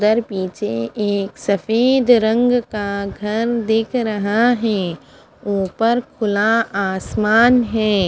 उदर पीछे एक सफ़ेद रंग का घर दिख रहा है उपर खुला आसमान है।